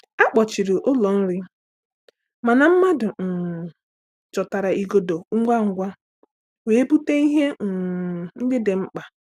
A kpọchiri ụlọ nrị, mana mmadụ um chọtara igodo ngwa ngwa wee bute ihe um ndị dị mkpa.